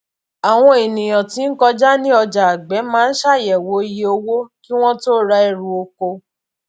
àwọn ènìyàn tí ń kọjá ní ọjà agbẹ máa ń ṣàyẹwò iye owó kí wọn tó ra ẹrù oko